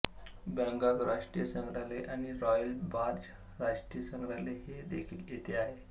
Bangkok राष्ट्रीय संग्रहालय आणि रॉयल बार्ज राष्ट्रीय संग्रहालय हे देखील येथे आहे